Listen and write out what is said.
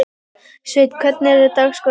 Sveinn, hvernig er dagskráin?